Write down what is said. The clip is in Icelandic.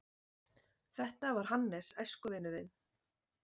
Þetta var Hannes, æskuvinur þinn.